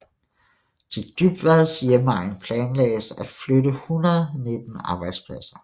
Til Dybvads hjemegn planlagdes at flytte 119 arbejdspladser